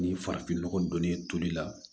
Ni farafinnɔgɔ donnen ye toli la